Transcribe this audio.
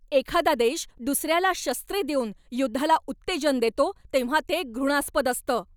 एखादा देश दुसऱ्याला शस्त्रे देऊन युद्धाला उत्तेजन देतो तेव्हा ते घृणास्पद असतं.